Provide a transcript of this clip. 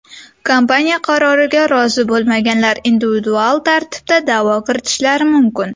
Kompaniya qaroriga rozi bo‘lmaganlar individual tartibda da’vo kiritishlari mumkin .